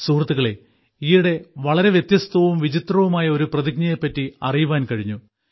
സുഹൃത്തുക്കളേ ഈയിടെ വളരെ വ്യത്യസ്തവും വിചിത്രവുമായ ഒരു പ്രതിജ്ഞയെപ്പറ്റി അറിയുവാൻ കഴിഞ്ഞു